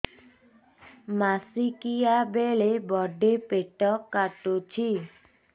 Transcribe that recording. ମାସିକିଆ ବେଳେ ବଡେ ପେଟ କାଟୁଚି